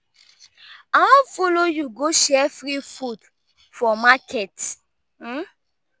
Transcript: i wan follow you go share free food for market.